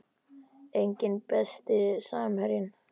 Enginn Besti samherjinn?